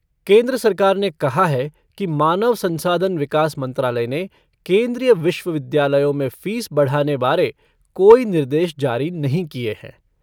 केन्द्र सरकार ने कहा है कि मानव संसाधन विकास मंत्रालय ने केन्द्रीय विश्वविद्यालयों में फ़ीस बढ़ाने बारे कोई निर्देश जारी नहीं किए हैं।